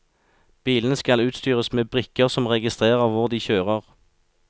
Bilene skal utstyres med brikker som registrerer hvor de kjører.